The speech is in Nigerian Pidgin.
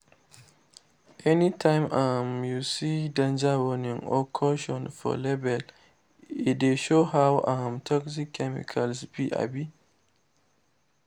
anytime um you see “danger” “warning” or “caution” for label e dey show how um toxic the chemical be. um